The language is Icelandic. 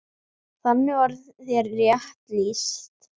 Þarna var þér rétt lýst.